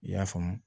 I y'a faamu